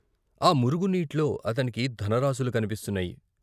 ఆ మురుగు నీట్లో అతనికి ధనరాసులు కన్పిస్తున్నాయి.